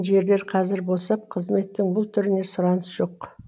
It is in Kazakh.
жерлер қазір босып қызметтің бұл түріне сұраныс жоқ